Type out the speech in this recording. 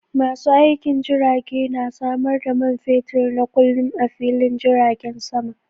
Masu aikin jirage na samar da man fetur na kullum a fillin jiragen sama.